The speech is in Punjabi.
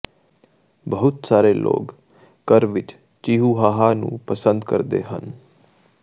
ਬਹੁਤ ਸਾਰੇ ਲੋਕ ਘਰ ਵਿੱਚ ਚਿਿਹੂਹਾਆ ਨੂੰ ਪਸੰਦ ਕਰਦੇ ਹਨ